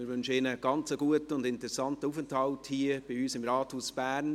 Wir wünschen ihnen einen guten und interessanten Aufenthalt hier bei uns im Rathaus Bern.